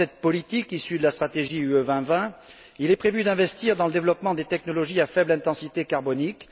Dans cette politique, issue de la stratégie Europe 2020, il est prévu d'investir dans le développement des technologies à faible intensité carbonique.